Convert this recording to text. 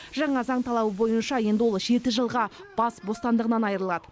жаңа заң талабы бойынша енді ол жеті жылға бас бостандығынан айырылады